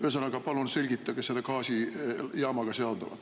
Ühesõnaga, palun selgitage seda gaasijaamaga seonduvat.